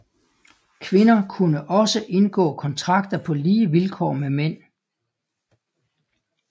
Kvinder kunne også indgå kontrakter på lige vilkår med mænd